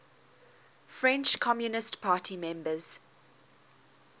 french communist party members